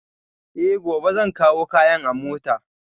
Eh, gobe zan kawo kayan a mota